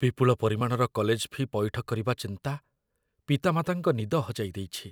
ବିପୁଳ ପରିମାଣର college fee' ପଇଠ କରିବା ଚିନ୍ତା ପିତାମାତାଙ୍କ ନିଦ ହଜାଇ ଦେଇଛି।